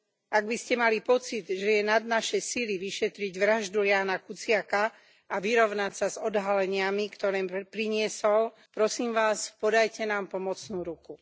Ak by ste mali pocit, že je nad naše sily vyšetriť vraždu Jána Kuciaka a vyrovnať sa odhaleniami, ktoré priniesol, prosím vás, podajte nám pomocnú ruku.